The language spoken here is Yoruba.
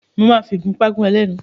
Mo máa fi ìgúpá gún ẹ lẹ́nu.